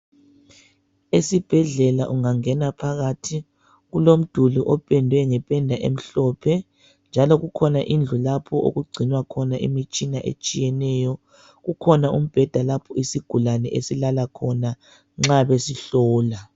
Esibhedlela ungangena phakathi, kulomduli opendwe ngependa emhlophe, njalo kukhona indlu, lapho okugcinwa khona imitshina etshiyeneyo. Kukhona umbheda, lapho usigulane esilala khona, nxa besihlola.